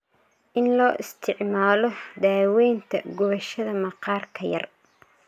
In loo isticmaalo daawaynta gubashada maqaarka yar.